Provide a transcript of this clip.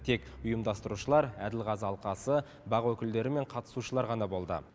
тек ұйымдастырушылар әділ қазы алқасы бақ өкілдері мен қатысушылар ғана болды